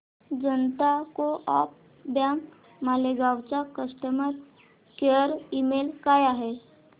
जनता co op bank Malegaon चा customer care email काय आहे